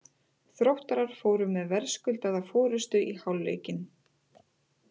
Þróttarar fóru með verðskuldaða forystu í hálfleikinn.